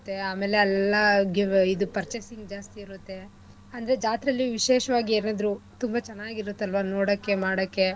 ಆಮೇಲೆ ಅಲ್ಲೆಲ್ಲಾ ಇದು purchasing ಜಾಸ್ತಿ ಇರುತ್ತೆ ಅಂದ್ರೆ ಜಾತ್ರೆಲಿ ವಿಶೇಷವಾಗಿ ಯಾರಾದ್ರು ತುಂಬಾ ಚೆನ್ನಾಗಿ ಇರತ್ ಅಲ್ವಾ ನೋಡಕ್ಕೆ ಮಾಡಕ್ಕೆ